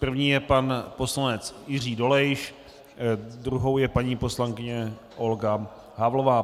První je pan poslanec Jiří Dolejš, druhou je paní poslankyně Olga Havlová.